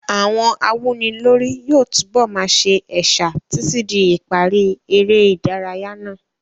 Àwọn awúnilórí yóò túbọ̀ máa sa ẹ̀sà títí di ìparí eré ìdárayá náà.